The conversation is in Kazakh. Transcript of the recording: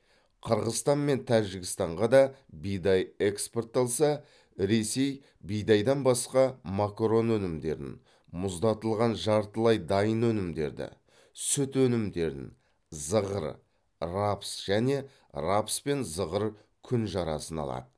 қырғызстан мен тәжікстанға да бидай экспортталса ресей бидайдан басқа макарон өнімдерін мұздатылған жартылай дайын өнімдерді сүт өнімдерін зығыр рапс және рапс пен зығыр күнжарасын алады